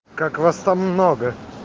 как вас там много